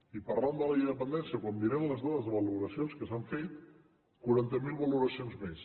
i parlant de la llei de la dependència quan mirem les dades de valoracions que s’han fet quaranta mil valoracions més